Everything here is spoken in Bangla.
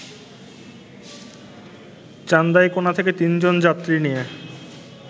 চান্দাইকোনা থেকে তিনজন যাত্রী নিয়ে